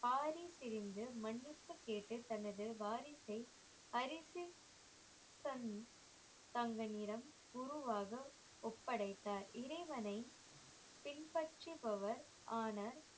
ஆறி சிரிந்து மன்னிப்பு கேட்டு தனது வாரிசை அரிசி சன் தங்க நிறம் குருவாக ஒப்படைத்தார் இறைவனை பின்பற்றுபவர் ஆன